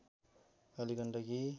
Kaligandaki